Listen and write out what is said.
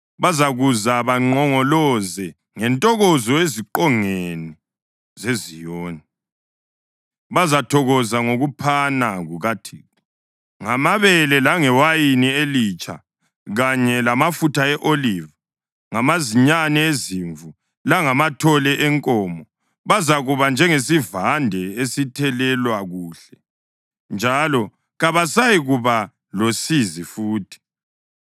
Bazakuza banqongoloze ngentokozo ezingqongeni zeZiyoni; bazathokoza ngokuphana kukaThixo, ngamabele, langewayini elitsha kanye lamafutha e-oliva, ngamazinyane ezimvu langamathole enkomo. Bazakuba njengesivande esithelelwa kuhle, njalo kabasayikuba losizi futhi.